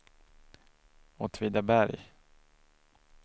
Åtvidaberg